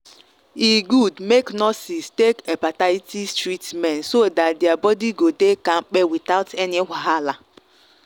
e good make nurses take hepatitis treatment so that their body go dey kampe without any wahala.